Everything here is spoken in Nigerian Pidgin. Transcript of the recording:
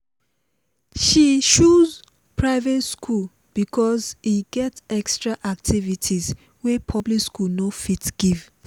she choose private school because e get extra activities wey public school no fit give